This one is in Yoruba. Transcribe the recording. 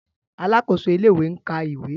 Alákòóso ilé-ìwé ń ka ìwé.